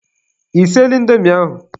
Ị siela indomi ahụ?